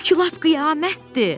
Bu ki lap qiyamətdir!